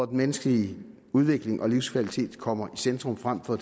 den menneskelige udvikling og livskvalitet kommer i centrum frem for